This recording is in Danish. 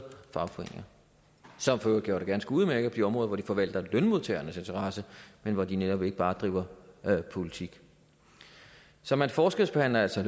fagforeninger som for øvrigt gør det ganske udmærket på de områder hvor de forvalter lønmodtagernes interesser men hvor de netop ikke bare bedriver politik så man forskelsbehandler altså